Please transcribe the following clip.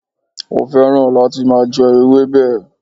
Ó féràn láti máa je ewébè